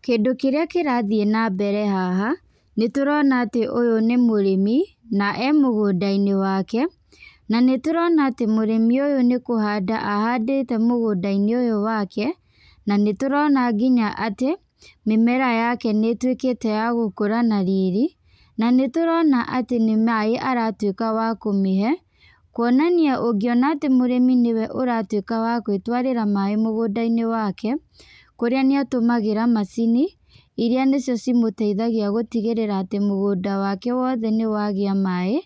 Kĩndũ kĩrĩa kĩrathiĩ na mbere haha, nĩ tũrona atĩ ũyũ nĩ mũrĩmi, na e mũgũnda-inĩ wake. Na nĩ tũrona atĩ mũrĩmi ũyũ nĩ kũhanda ahandĩte mũgũnda-inĩ ũyũ wake. Na nĩ tũrona nginya atĩ, mĩmera yake nĩ ĩtuĩkĩte ya gũkũra na riri. Na nĩ tũrona atĩ nĩ maaĩ aratuĩka wa kũmĩhe, kuonania ũngĩona atĩ mũrĩmi nĩwe ũratuĩka wa gwĩtwarĩra maaĩ mũgũnda-inĩ wake, kũrĩa nĩ atũmagĩra macini, irĩa nĩcio cimũteithagia gũtigĩrĩra atĩ mũgũnda wake wothe nĩ wagĩa maaĩ,